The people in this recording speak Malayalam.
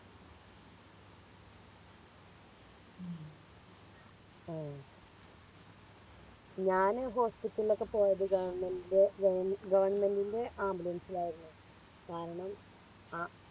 ഉം ആഹ് ഞാന് Hospital ഒക്കെ പോയത് Government ൻറെ Government ൻറെ Ambulance ൽ ആയിരുന്നു കാരണം ആ